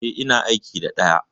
E, ina aiki da ɗaya.